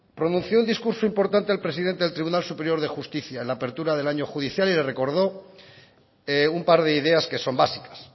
pronunció un discurso importante el presidente del tribunal superior de justicia en la apertura del año judicial y recordó un par de ideas que son básicas